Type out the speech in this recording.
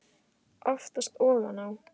Oftast ofan á.